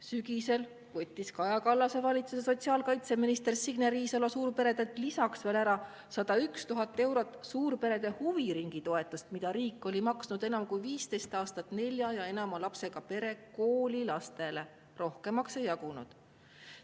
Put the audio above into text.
Sügisel võttis Kaja Kallase valitsuse sotsiaalkaitseminister Signe Riisalo suurperedelt veel ära 101 000 eurot suurperede huviringitoetust, mida riik oli maksnud enam kui 15 aastat nelja ja enama lapsega pere koolilastele, rohkemaks ei jagunud.